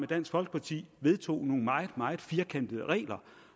dansk folkeparti vedtog nogle meget meget firkantede regler